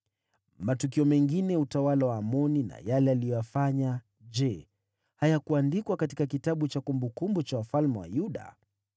Matukio mengine ya utawala wa Amoni na yale aliyoyafanya, je, hayakuandikwa katika kitabu cha kumbukumbu za wafalme wa Yuda?